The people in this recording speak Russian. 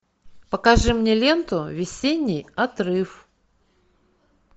покажи мне ленту весенний отрыв